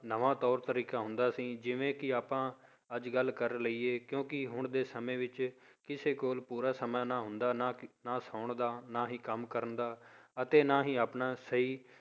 ਨਵਾਂ ਤੌਰ ਤਰੀਕਾ ਹੁੰਦਾ ਸੀ ਜਿਵੇਂ ਕਿ ਆਪਾਂ ਅੱਜ ਕੱਲ੍ਹ ਕਰ ਲਈਏ, ਕਿਉਂਕਿ ਹੁਣ ਦੇ ਸਮੇਂ ਵਿੱਚ ਕਿਸੇ ਕੋਲ ਪੂਰਾ ਸਮਾਂ ਨਾ ਹੁੰਦਾ ਨਾ ਸੌਣ ਦਾ, ਨਾ ਹੀ ਕੰਮ ਕਰਨ ਦਾ ਅਤੇ ਨਾ ਹੀ ਆਪਣਾ ਸਹੀ